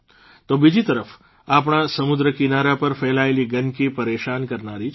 તો બીજી તરફ આપણા સમુદ્રકિનારા પર ફેલાયેલી ગંદકી પરેશાન કરનારી છે